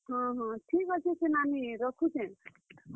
ହଁ ହଁ, ଠିକ୍ ଅଛେ ସେ ନାନୀ ରଖୁଛେଁ।